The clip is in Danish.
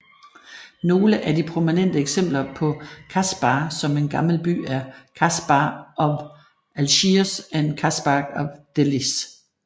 Nogle af de prominente eksempler på kasbah som en gammel by er Casbah of Algiers og Casbah of Dellys